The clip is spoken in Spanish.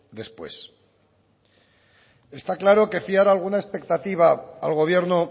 después está claro que fiar alguna expectativa al gobierno